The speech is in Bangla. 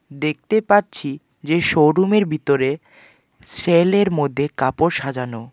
দেখতে পাচ্ছি যে শোরুমের বিতরে সেলের মধ্যে কাপড় সাজানো।